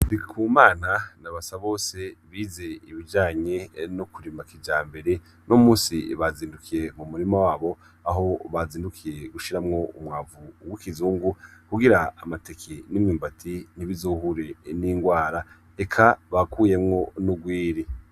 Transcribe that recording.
Ndikumana na Basabose bize ibijanye no kurima kijambere, uno munsi bazindukiye mu murima wabo aho bazindukiye gushiramwo umwavu w' ikizungu, kugira amateke n' imyumbati ntibizohure n' ingwara. Eka bakuyemwo n' urwiri.